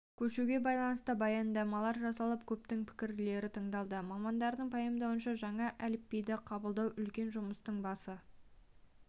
көшуге байланысты баяндамалар жасалып көптің пікірлері тыңдалды мамандардың пайымдауынша жаңа әліпбиді қабылдау үлкен жұмыстың басы